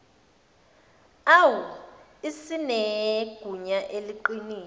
au isinegunya eliqinile